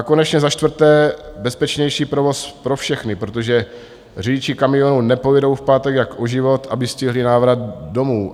A konečně za čtvrté, bezpečnější provoz pro všechny, protože řidiči kamionů nepojedou v pátek jak o život, aby stihli návrat domů.